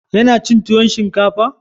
Ya na cin tuwon shinkafa?